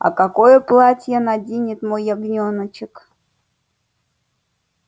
а какое платье наденет мой ягнёночек